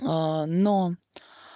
но